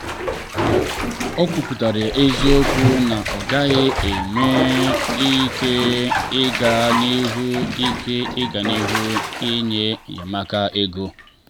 o kwuputara eziokwu na ọ gaghị enwe ike ịga n'ihu ike ịga n'ihu inye enyemaka ego.